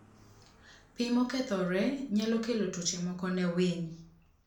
Pi mokethore nyalo kelo tuoche moko ne winy.